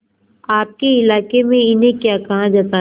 आपके इलाके में इन्हें क्या कहा जाता है